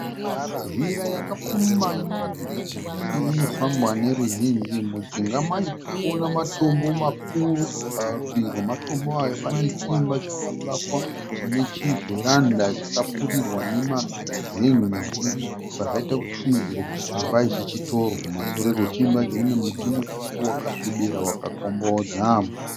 Zhira yakapfumba inoratidza kuti inofambwa neruzhinji. Mujinga macho tirikuona matombo makuru. Parutivi rwematombo aya pane chiimba chakavakwa chine chivheranda chakapfurirwa nemazen'e zvichibva zvaita kuti tifungidzire kuti chiimba ichi chitoro. Kumashure kwachiimba ichi kune muti mukuru wakasvibira wakakombodza